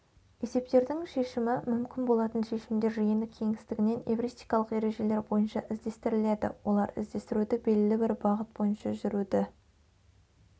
есептердің шешімі мүмкін болатын шешімдер жиыны кеңістігінен эвристикалық ережелер бойынша іздестіріледі олар іздестіруді белгілі бір бағыт бойынша жүруді